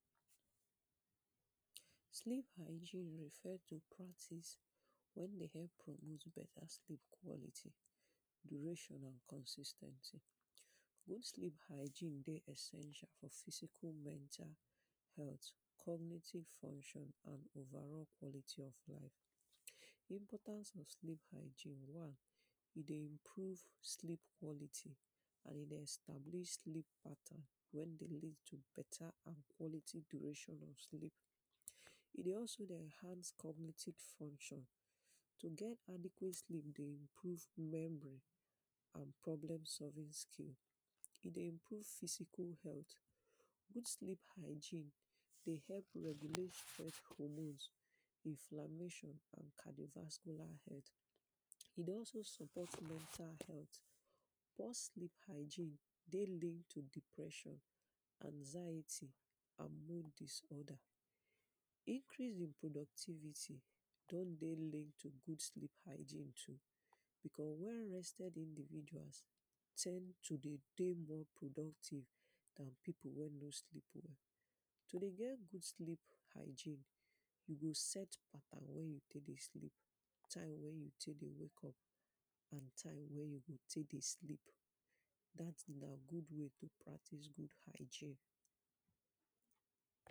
Sleep hygiene refer to practice wey dey help produce better sleep quantity, duration and consis ten cy. Good sleep hygiene dey important for physical mental health, cognitive function and over all quality of life. Important of sleep hygiene, one e dey improve sleep quantity and e dey establish sleep pattern wey dey lead to better and quantity duration of sleep, e dey also dey enhance cognitive function, to get adequate sleep dey improve remembering and problem solving skill, e dey improve physical health. Good sleep hygiene dey help regulate sef hormones, Inflammation and cardiovascular health e dey also support mental health, poor sleep hygiene dey link to depression, anxiety and mood disorder. Increase in productivity don dey link to good sleep hygiene too becos well rested individuals ten d to dey dey more productive than pipu wey no sleep well. To dey get good sleep hygiene you go set pattern wey you take dey sleep, time wey you take dey wake up and time wey you go take dey sleep, dat na good way to practice good hygiene.